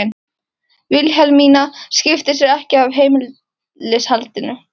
Vilhelmína skipti sér ekki af heimilishaldinu.